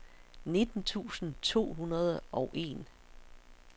nitten tusind to hundrede og en